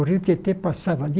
O rio Tietê passava ali.